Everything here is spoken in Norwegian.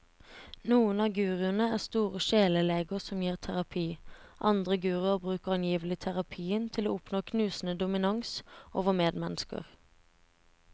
Noen av guruene er store sjeleleger som gir terapi, andre guruer bruker angivelig terapien til å oppnå knusende dominans over medmennesker.